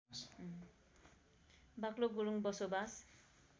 बाक्लो गुरूङ बसोबास